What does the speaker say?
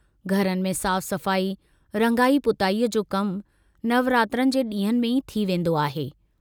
घरनि में साफ़ सफ़ाई, रंगाई पुताईअ जो कमु नवरात्रनि जे डींहंनि में ई थी वेन्दो आहे।